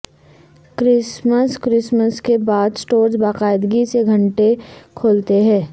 Christmas Christmas کے بعد stores باقاعدگی سے گھنٹے کھولتے ہیں